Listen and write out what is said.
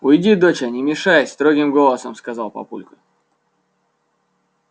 уйди доча не мешай строгим голосом сказал папулька